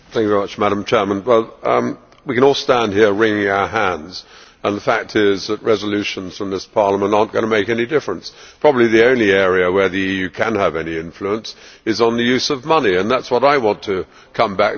We can all stand here wringing our hands, and the fact is that resolutions from this Parliament are not going to make any difference. Probably the only area where the EU can have any influence is on the use of money and that is what I want to come back to as well, because some